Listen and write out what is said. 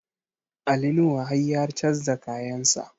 Ali Nuhu har ya canza kayan sa